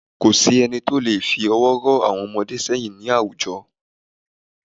Ko sí ẹni tó leè fi ọwọ́ ró àwon ọmọdé séyìn ní àwùjo